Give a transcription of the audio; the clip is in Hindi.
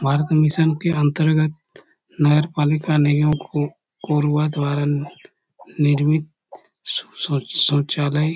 भारत मिशन के अंतर्गत नगर पालिका को कोरबा द्वारा निर्मित शो शोचालय--